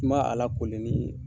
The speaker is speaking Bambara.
I b'a lakoli nin